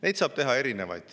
Neid saab teha erinevaid.